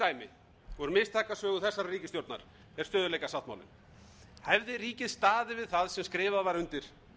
mistakasögu þessarar ríkisstjórnar er stöðugleikasáttmálinn hefði ríkið staðið við það sem skrifað var undir